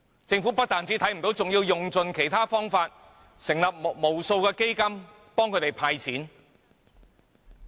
政府不但看不見，還要用盡方法成立無數基金協助他們"派錢"。